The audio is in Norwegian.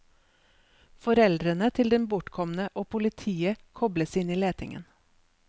Foreldrene til den bortkomne og politiet kobles inn i letingen.